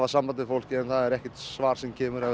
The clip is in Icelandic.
samband við fólkið en það er ekkert svar sem kemur það